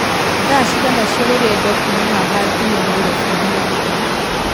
thaa cigana cia rũgendokuuma haha nginya nairobi na mũgithi